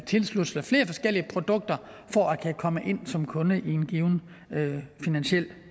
tilslutte sig flere forskellige produkter for at kunne komme ind som kunde i en given finansiel